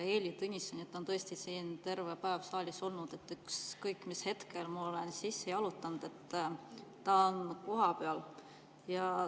Heili Tõnisson on tõesti siin terve päev saalis olnud, ükskõik mis hetkel ma olen sisse jalutanud, ta on kohal.